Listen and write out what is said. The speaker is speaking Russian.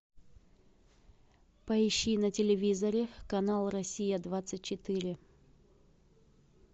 поищи на телевизоре канал россия двадцать четыре